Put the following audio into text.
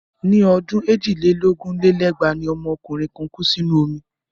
Ní ọdún èjì lé lógún lé lẹ́gbàá ni ọmọ òǹkọrin kan kú sínú omi.